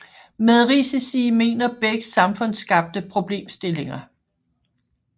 Med risici mener Beck samfundsskabte problemstillinger